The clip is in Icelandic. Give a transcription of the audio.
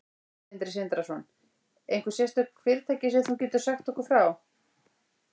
Sindri Sindrason: Einhver sérstök fyrirtæki sem þú getur sagt okkur frá?